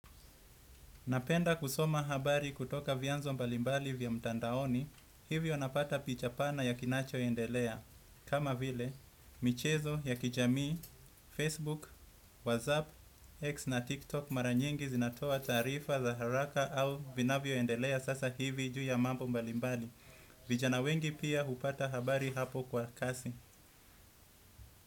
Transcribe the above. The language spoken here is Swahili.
Napenda kusoma habari kutoka vyanzo mbalimbali vya mtandaoni, hivyo napata picha pana ya kinachoendelea. Kama vile, michezo ya kijamii, facebook, whatsapp, x na tiktok mara nyingi zinatoa taarifa za haraka au vinavyoendelea sasa hivi juu ya mambo mbalimbali. Vijana wengi pia hupata habari hapo kwa kasi.